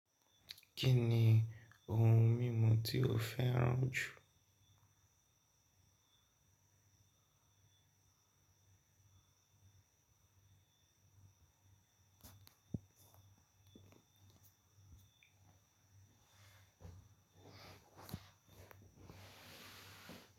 Kí ni ohun mímu tí o fẹ́ràn jù?